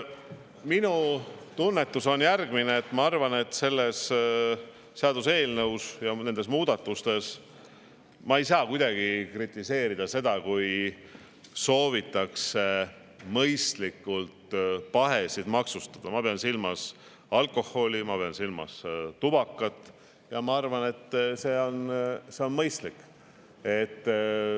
Minu tunnetus on järgmine: ma arvan, et selle seaduseelnõu ja nende muudatuste puhul ma ei saa kuidagi kritiseerida seda, kui soovitakse mõistlikult pahesid maksustada – ma pean silmas alkoholi, ma pean silmas tubakat –, ja ma arvan, et see on mõistlik.